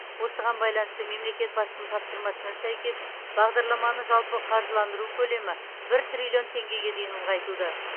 осыған байланысты мемлекет басшысының тапсырмасына сәйкес бағдарламаны жалпы қаржыландыру көлемі бір триллион теңгеге дейін ұлғайтылды